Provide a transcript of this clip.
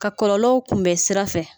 Ka kɔlɔlɔw kun bɛ sira fɛ.